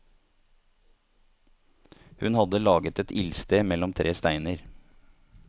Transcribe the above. Hun hadde laget et ildsted mellom tre steiner.